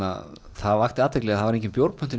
það vakti athygli að það var engin